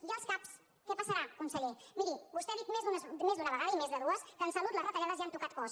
i als cap què passarà conseller miri vostè ha dit més d’una vegada i més de dues que en salut les retallades ja han tocat os